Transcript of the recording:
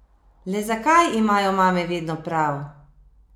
Le zakaj imajo mame vedno prav?